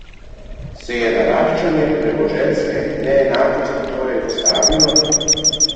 Se je naraščanje premoženjske neenakosti torej ustavilo?